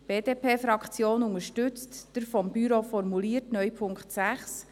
Die BDP-Fraktion unterstützt den vom Büro formulierten neuen Punkt 6.